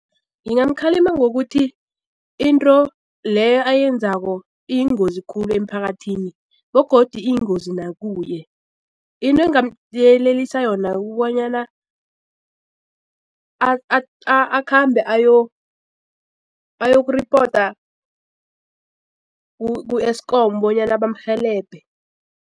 Ngingamkhalima ngokuthi into leyo ayenzako iyingozi khulu emphakathini begodu iyingozi nakuye into engamyelelisa yona kobonyana akhambe ayoku-report ku-ESKOM bonyana bamrhelebhe.